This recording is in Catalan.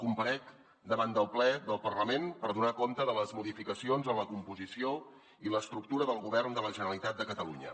comparec davant del ple del parlament per donar compte de les modificacions en la composició i l’estructura del govern de la generalitat de catalunya